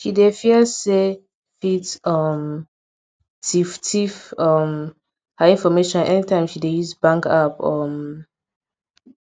she dey fear say fit um tiff tiff um her information anytime she dey use bank app um